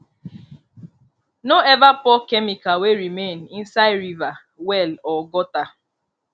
no ever pour chemical wey remain inside river well or gutter